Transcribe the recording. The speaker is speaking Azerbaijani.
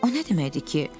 O nə deməkdir ki?